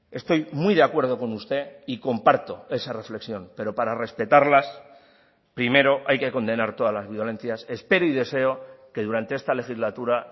estoy muy de acuerdo con usted y comparto esa reflexión pero para respetarlas primero hay que condenar todas las violencias espero y deseo que durante esta legislatura